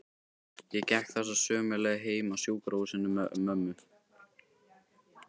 Ég gekk þessa sömu leið heim af sjúkrahúsinu með mömmu.